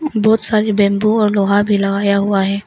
बहुत सारे बैंबू और लोहा भी लगाया हुआ है।